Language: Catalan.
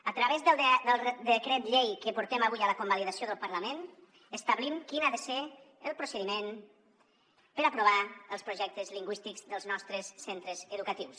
a través del decret llei que portem avui a la convalidació del parlament establim quin ha de ser el procediment per aprovar els projectes lingüístics dels nostres centres educatius